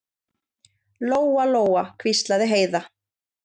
Lóa-Lóa, hvíslaði Heiða.